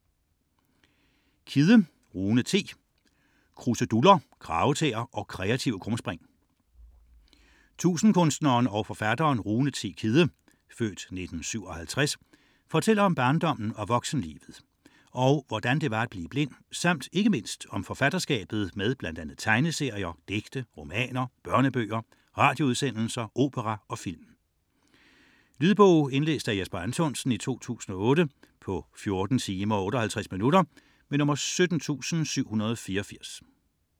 99.4 Kidde, Rune T. Kidde, Rune T.: Kruseduller, kragetæer og kreative krumspring Tusindkunstneren og forfatteren Rune T. Kidde (f. 1957) fortæller om barndommen og voksenlivet og hvordan det var at blive blind samt ikke mindst om forfatterskabet med bl.a. tegneserier, digte, romaner, børnebøger, radioudsendelser, opera og film. Lydbog 17784 Indlæst af Jesper Anthonsen, 2008. Spilletid: 14 timer, 58 minutter.